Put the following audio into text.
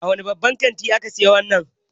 A wani babban kanti ka saye wannan tufafi?